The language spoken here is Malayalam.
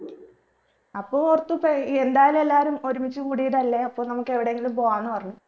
അപ്പൊ ഓർത്തു ഇപ്പൊ യെന്തായാലു എല്ലാരും ഒരുമിച്ച് കൂടിയതല്ലേ അപ്പോ നമ്മക്ക് എവിടെയെങ്കിലും പോവാന്ന് പറഞ്ഞു